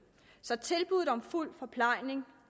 så tilbuddet nu om fuld forplejning